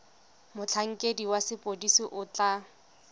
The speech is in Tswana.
motlhankedi wa sepodisi o tla